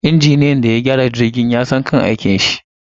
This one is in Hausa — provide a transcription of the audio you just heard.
Injiniyan da ya gyara jirgin yasan kan aikinshi